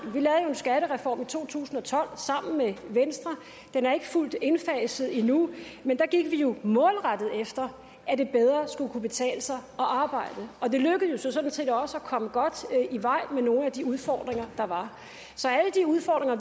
skattereform i to tusind og tolv sammen med venstre den er ikke fuldt indfaset endnu men der gik vi jo målrettet efter at det bedre skulle kunne betale sig at arbejde og det lykkedes jo sådan set også at komme godt i vej med nogle af de udfordringer der var så